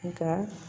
Nka